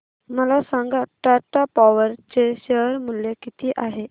मला सांगा टाटा पॉवर चे शेअर मूल्य किती आहे